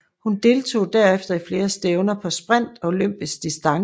Hun deltog derefter i flere stævner på sprint og olympisk distance